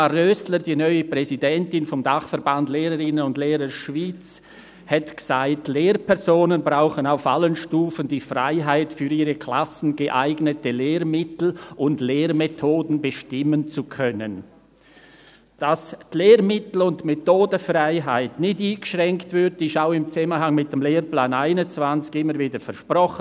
Dagmar Rösler, die neue Präsidentin des Dachverbands Lehrerinnen und Lehrer Schweiz (LCH), sagte: «Lehrpersonen brauchen auf allen Stufen die Freiheit, für ihre Klassen geeignete Lehrmittel und Lehrmethoden bestimmen zu können.» Dass die Lehrmittel- und Methodenfreiheit nicht eingeschränkt wird, wurde auch im Zusammenhang mit dem Lehrplan 21 immer wieder versprochen.